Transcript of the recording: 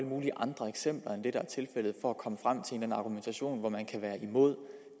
mulige andre eksempler end er tilfældet for at komme frem til en argumentation man kan være imod